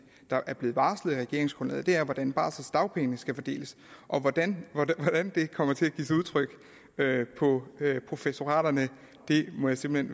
er blevet varslet i regeringsgrundlaget er hvordan barseldagpengene skal fordeles hvordan det kommer til at give sig udtryk på professoraterne må jeg simpelt